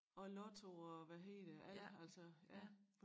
Og lotto og hvad hedder det alt altså ja